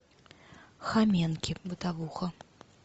хоменки бытовуха